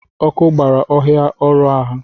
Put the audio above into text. Ọkụ gbara ọhịa ọrụ ha